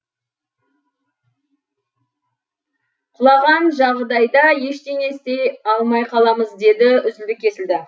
құлаған жағдайда ештеңе істей алмай қаламыз деді үзілді кесілді